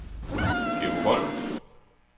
Georg Wolff